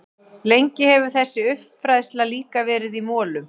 Lengi hefur þessi uppfræðsla líka verið í molum.